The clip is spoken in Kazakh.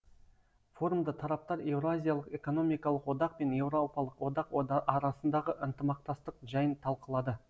форумда тараптар еуразиялық экономикалық одақ пен еуропалық одақ арасындағы ынтымақтастық жайын талқылады